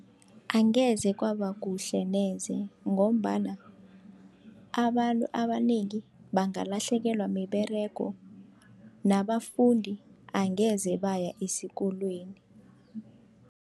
Angeze kwaba kuhle neze, ngombana abantu abanengi bangalahlekelwa miberego nabafundi angeze baya esikolweni.